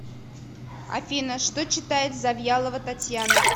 афина что читает завьялова татьяна